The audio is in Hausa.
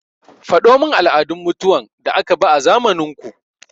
Faɗo min al'adun mutuwan da aka bi a zamanin ku!